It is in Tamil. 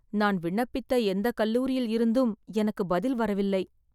நான் விண்ணப்பித்த எந்த கல்லூரியில் இருந்தும் எனக்குப் பதில் வரவில்லை